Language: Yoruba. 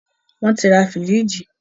wọ́n ti ra fìríìjì.